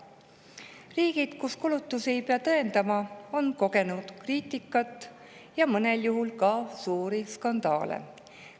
Riigid, kus kulutusi ei pea tõendama, on kogenud kriitikat ja mõnel juhul ka suuri skandaale.